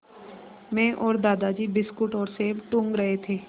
मैं और दादाजी बिस्कुट और सेब टूँग रहे थे